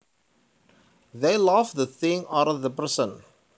They love the thing or the person